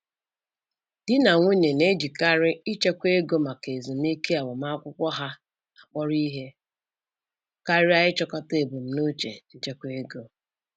Di na nwunye na-ejikarị ịchekwa ego maka ezumike agbamakwụkwọ ha akpọrọ ihe karịa ịchịkọta ebumnuche nchekwa ego.